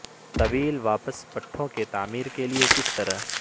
طویل واپس پٹھوں کی تعمیر کے لئے کس طرح